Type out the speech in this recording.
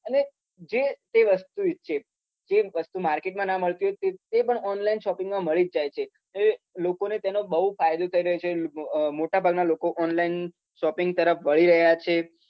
જે તે વસ્તુ છે તે પણ online shopping માં મળી જ જાય છે લોકો ને બવ ફાયદો થાય રહ્યો છે અ રીત નો મોટા ભાગ ના લોકો અ online shopping તરફ વળી રહ્યા છે